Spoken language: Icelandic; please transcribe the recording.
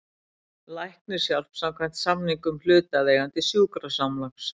Læknishjálp samkvæmt samningum hlutaðeigandi sjúkrasamlags.